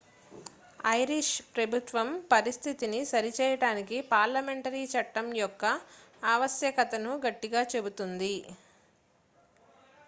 Irish ప్రభుత్వం పరిస్థితిని సరిచేయడానికి పార్లమెంటరీ చట్టం యొక్క ఆవశ్యకతను గట్టిగా చెబుతోంది